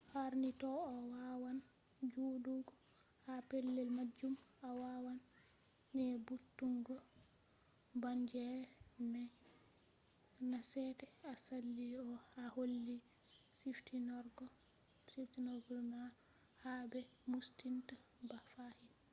harni to a wawan joɗugo ha pellel majum a wawan nyebbutungo bangeere mai nasete a sali a holli ciftinorgol ma ha be moostinta ba fahin